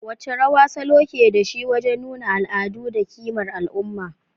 Wace rawa salo ke da shi wajen nuna al'adu da kimar al'umma?